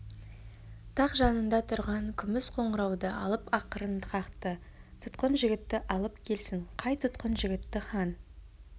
тақ жанында тұрған күміс қоңырауды алып ақырын қақты тұтқын жігітті алып келсін қай тұтқын жігітті хан